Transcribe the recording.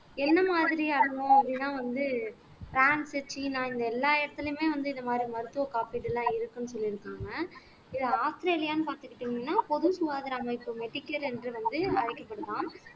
என்ன மாதிரி ஆகணும் அப்படின்னா வந்து பிரான்ஸ் சீனா இந்த எல்லா இடத்துலயுமே வந்து இந்த மாரி மருத்துவ காப்பீடு எல்லாம் இருக்குன்னு சொல்லியிருக்காங்க ஆஸ்திரேலியான்னு பார்த்துக்கிட்டீங்கன்னா பொது சுகாதார அமைப்பு என்று வந்து அழைக்கப்படுமாம்